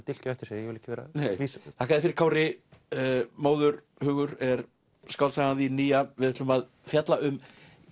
dilk á eftir sér ég vil ekki vera að lýsa því þakka þér fyrir Kári móðurhugur er skáldsagan þín nýja við ætlum að fjalla um